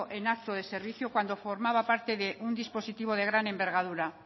en acto de servicio cuando formaba parte de un dispositivo de gran envergadura